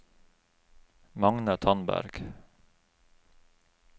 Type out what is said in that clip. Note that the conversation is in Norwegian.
Magne Tandberg